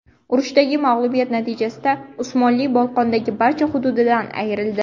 Urushdagi mag‘lubiyat natijasida Usmonli Bolqondagi barcha hududidan ayrildi.